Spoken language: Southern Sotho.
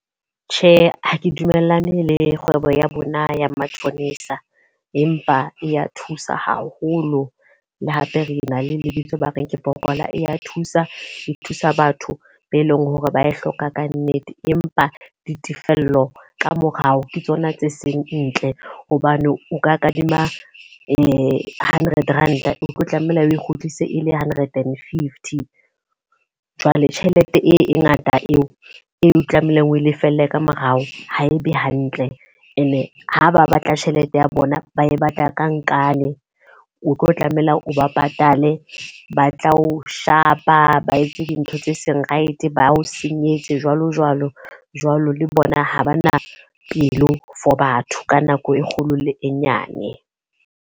Tjhe, ha ke dumellane le kgwebo ya bona ya matjhonisa. Empa e ya thusa haholo, le hape re na le lebitso ba reng ke pokola, e ya thusa. E thusa batho be leng hore ba e hloka ka nnete. Empa ditefello ka morao ke tsona tse seng ntle. hobane o ka kadima hundred Rand a o tlo tlameha o kgutlise e le Hundred and fifty. Jwale tjhelete e ngata eo eo tlamehileng o lefelle ka morao, ha e be hantle. E ne ha ba batla tjhelete ya bona ba e batla ka nkane. O tlo tlameha o ba patale le ba tla o shapa, ba etse dintho tse seng right, ba o senyetse jwalo jwalo jwalo. Le bona ha ba na pelo for batho, ka nako e kgolo le e nyane.